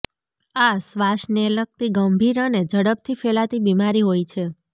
આ શ્વાસને લગતી ગંભીર અને ઝડપથી ફેલાતી બીમારી હોય છે